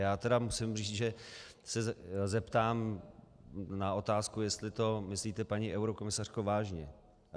Já tedy musím říct, že se zeptám na otázku, jestli to myslíte, paní eurokomisařko, vážně.